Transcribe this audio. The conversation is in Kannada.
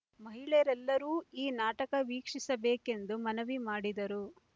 ಮಹಿಳೆಯರೆಲ್ಲರೂ ಈ ನಾಟಕ ವೀಕ್ಷಿಸಬೇಕೆಂದು ಮನವಿ ಮಾಡಿದರು